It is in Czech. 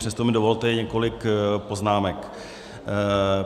Přesto mi dovolte několik poznámek.